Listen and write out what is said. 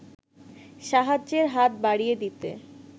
সাহায্যের হাত বাড়িয়ে দিতে